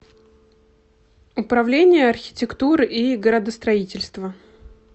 управление архитектуры и градостроительства